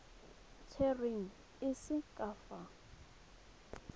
tserweng e se ka fa